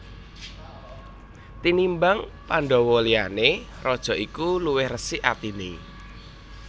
Tinimbang Pandhawa liyane raja iki luwih resik atine